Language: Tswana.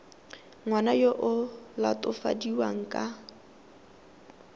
ngwana yo o latofadiwang ka